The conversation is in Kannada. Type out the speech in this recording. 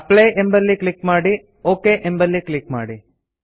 ಅಪ್ಲೈ ಎಂಬಲ್ಲಿ ಕ್ಲಿಕ್ ಮಾಡಿ ಒಕ್ ಎಂಬಲ್ಲಿ ಕ್ಲಿಕ್ ಮಾಡಿ